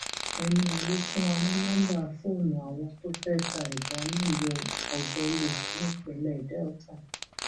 ẹni yẹn ló fún wa ní nọmba fóònù àwọn tó fẹẹ ta ìbọn nílùú ògbẹlì nípìnlẹ delta